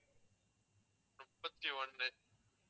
முப்பத்தி ஒன்னு